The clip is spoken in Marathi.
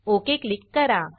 ओक क्लिक करा